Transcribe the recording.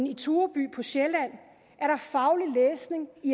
i tureby på sjælland er der faglig læsning i